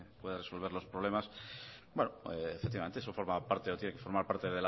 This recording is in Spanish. pueda resolver los problemas bueno efectivamente eso forma parte o tiene que formar parte